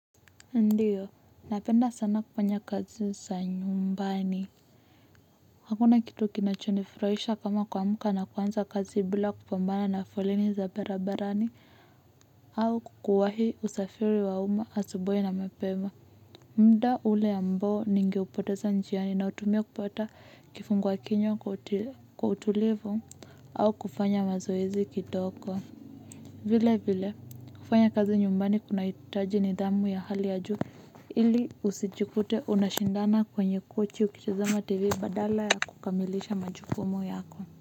Ndiyo, napenda sana kufanya kazi za nyumbani. Hakuna kitu kinachonifurahisha kama kuamka na kuanza kazi bila kupambana na foleni za barabarani au kuwahi usafiri wa umma asubuhi na mapema. Muda ule ambao ningeupoteza njiani nautumia kupata kifungua kinywa kwa utulivu au kufanya mazoezi kidogo. Vilevile, kufanya kazi nyumbani kunahitaji nidhamu ya hali ya juu. Ili usijikute unashindana kwenye kochi ukitazama tv badala ya kukamilisha majukumu yako.